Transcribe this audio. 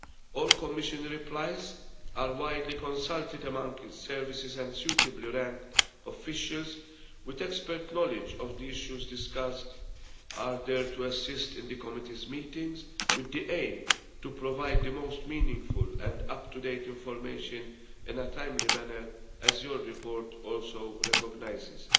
All Commission replies are widely consulted among services, and suitably ranked officials with expert knowledge of the issues discussed are there to assist in the Committee's meetings with the aim of providing the most meaningful and up to date information in a timely manner, as your report also recognises.